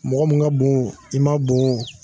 Mɔgɔ min ka bon i ma bon